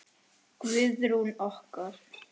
Guðrún okkar!